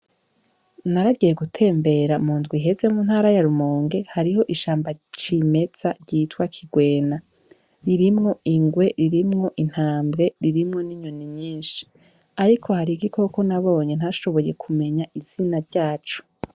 Naragiye gutembera mu ndwi iheze mu ntara ya Rumonge hariho ishamba cimeza ryitwa kigwena ririmwo ingwe ririmwo intambwe ririmwo n' inyoni nyinshi ariko hari igikoko nabonye ntashoboye kumenya izina ryaco.